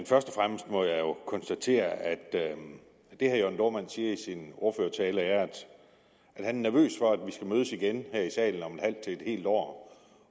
først og fremmest må jeg konstatere at det herre jørn dohrmann siger i sin ordførertale er at han er nervøs for at vi skal mødes igen her i salen om et halvt til et helt år